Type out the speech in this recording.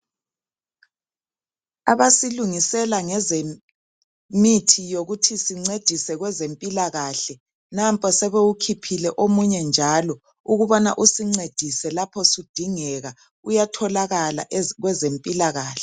Abasilungisela ngezemithi yokuthi sincedise kwezempilakahle nampa sebewukhiphile omunye njalo ukubana usincedise lapho sudingeka uyatholakala kwezempilakahle.